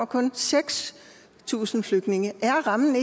kun seks tusind flygtninge er rammen